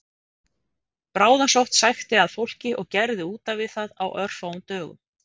Bráðasótt sækti að fólki og gerði útaf við það á örfáum dögum